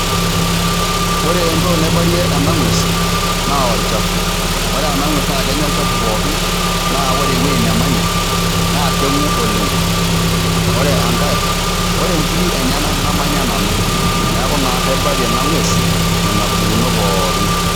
Ore entoki naibarie ena ng'ues naa olchafu. Ore ena ng'ues naake enya olchafu pookin naa ore ewuei nemanya naa keng'u oleng'. Ore enkae ore nkirik enyenak namanya nanu, neeku naa kaibarie ena ng'ues nena pukunot pookin.